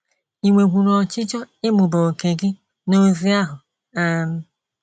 Ì nwekwuru ọchịchọ ịmụba òkè gị n’ozi ahụ? um